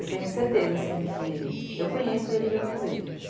Eu tenho certeza, assim, que eu conheço ele de outras vidas.